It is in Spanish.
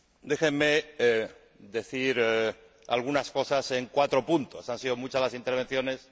Déjenme decir algunas cosas en cuatro puntos. Han sido muchas las intervenciones